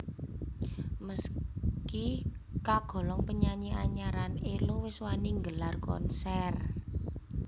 Meski kagolong penyanyi anyaran Ello wis wani nggelar konser